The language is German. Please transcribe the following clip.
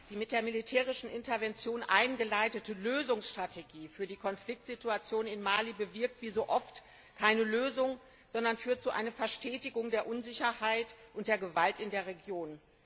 Frau Präsidentin! Die mit der militärischen Intervention eingeleitete Lösungsstrategie für die Konfliktsituation in Mali bewirkt wie so oft keine Lösung, sondern führt zu einer Verstetigung der Unsicherheit und der Gewalt in der Region.